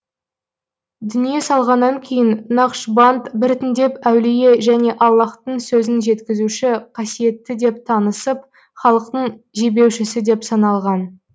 дүние салғаннан кейін нақшбанд біртіндеп әулие және аллаһтың сөзін жеткізуші қасиетті деп танысып халықтың жебеушісі деп саналған